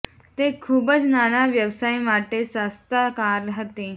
તે ખૂબ જ નાના વ્યવસાય માટે સસ્તા કાર હતી